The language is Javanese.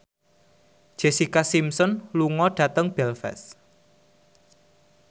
Jessica Simpson lunga dhateng Belfast